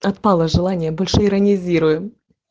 отпало желание больше иронизируем